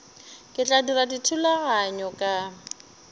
ke tla dira dithulaganyo ka